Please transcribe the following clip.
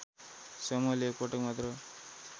समूहले एकपटक मात्र